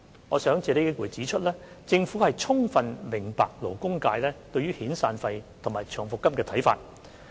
我想借此機會指出，政府充分明白勞工界對遣散費及長期服務金的看法。